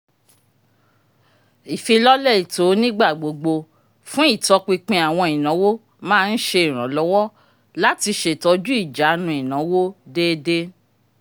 ìfilọ́lẹ̀ ètó onígbàgbógbó fún itọ̀pìnpìn awọn ìnáwó má n ṣe iranlọwọ lati ṣetọju ijànú ìnáwó déédé